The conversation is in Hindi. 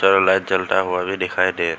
यहां लाइट जलता हुआ भी दिखाई दे--